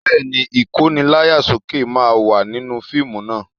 Bẹ́ẹ̀ ni, Ìkóni láyà sókè máa wà nínú fíìmù naa